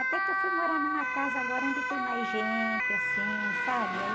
Até que eu fui morar numa casa agora onde tem mais gente, assim, sabe?